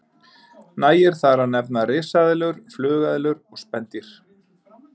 Nægir þar að nefna risaeðlur, flugeðlur og spendýr.